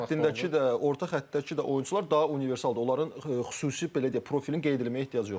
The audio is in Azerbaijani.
Hücum xəttindəki də, orta xəttdəki də oyunçular daha universaldir, onların xüsusi belə deyək profilini qeyd eləməyə ehtiyac yoxdur.